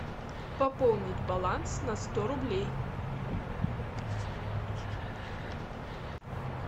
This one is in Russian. пополнить баланс на сто рублей